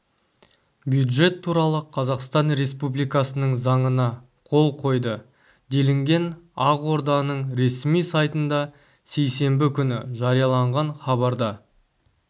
бюджет туралы қазақстан республикасының заңына қол қойды делінген ақорданың ресми сайтында сейсенбі күні жарияланған хабарда